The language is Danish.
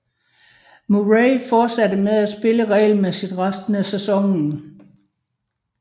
Murray fortsatte med at spille regelmæssigt resten af sæsonen